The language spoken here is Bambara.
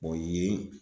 yiri